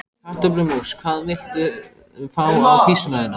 Kartöflumús Hvað vilt þú fá á pizzuna þína?